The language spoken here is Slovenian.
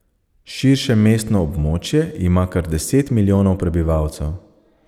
Širše mestno območje ima kar deset milijonov prebivalcev.